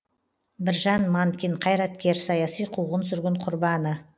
біржан манкин қайраткер саяси қуғын сүргін құрбаны